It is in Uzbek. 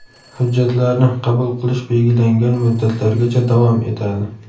Hujjatlarni qabul qilish belgilangan muddatlargacha davom etadi.